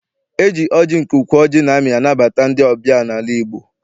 E ji ọjị nke ukwu ọjị na-amị anabata ndị ọbịa n'ala Igbo.